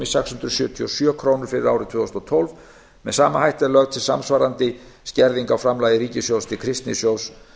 hundruð sjötíu og sjö ár fyrir árið tvö þúsund og tólf með sama hætti er lögð til samsvarandi skerðing á framlagi ríkissjóðs til kristnisjóðs